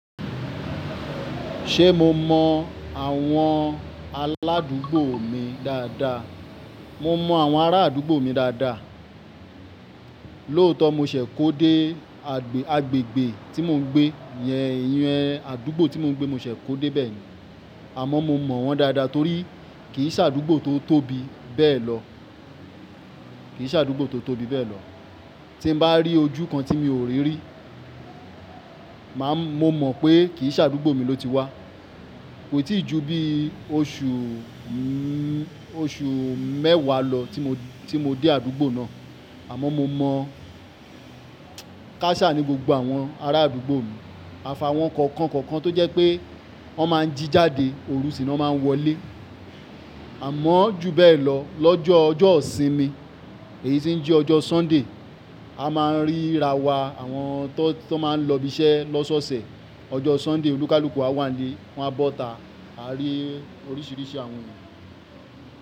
Ṣé mo mọ àwọn aládúgbò mi dáadáa? Mo mọ àwọn ará àdúgbò mi dáadáa. Lóòótọ́ mo ṣẹ̀ kó dé agbègbè tí mò ń gbé yẹn, àdúgbò tí mò ń gbé mo ṣẹ̀ kó dé bẹ́ẹ̀ ni. Àmọ́ mo mọ wọ́n dáadáa torí kì í ṣàdúgbò tó tóbi bẹ́ẹ̀ lọ. Kì í ṣàdúgbò tó tóbi bẹ́ẹ̀ lọ. Tí n bá rí ojú kan tí mi ò rí rí, màá mọ̀ pé kì í ṣàdúgbò mi ló ti wá. Kò tíì ju bi oṣù, oṣù mẹ́wàá lọ tí mo dé àdúgbò náà. Àmọ́ mo mọ káṣá ní gbogbo àwọn ará àdúgbò mi. Àfàà wọ́n kọ̀ọ̀kan kọ̀ọ̀kan tó jẹ́ pé wọ́n máa ń jí jáde, òru ṣìná wọ́n máa ń wọlé. Àmọ́ ju bẹ́ẹ̀ lọ, lọ́jọ́ ọjọ́ ìsinmi èyí tí ń jí ọjọ́ Sunday, a máa ń rírawọ àwọn tó máa ń lọ ibi iṣẹ́ lọ́ṣọ̀ọ̀sẹ̀. Ọjọ́ Sunday olúkúlùkù a wà nílé, wọ́n á bọ́ta, a rí oríṣìíríṣìí àwọn ènìyàn.